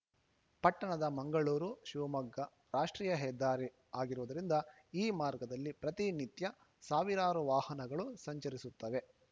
ಪಟ್ಟಣದ ಮಂಗಳೂರುಶಿವಮೊಗ್ಗ ರಾಷ್ಟ್ರೀಯ ಹೆದ್ದಾರಿ ಆಗಿರುವುದರಿಂದ ಈ ಮಾರ್ಗದಲ್ಲಿ ಪ್ರತಿನಿತ್ಯ ಸಾವಿರಾರು ವಾಹನಗಳು ಸಂಚರಿಸುತ್ತವೆ